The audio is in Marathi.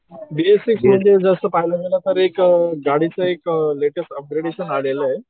बी एस सिक्स म्हणलं तर पाहायला गेलं तर एक गाडीचं एक लेटेस्ट अपग्रेडेशन आलेलं आहे.